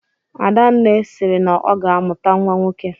Adanne sịrị na ọ ga-amụta nnwa nwoke